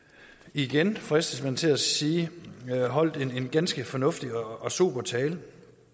igen fristes man til at sige holdt en ganske fornuftig og sober tale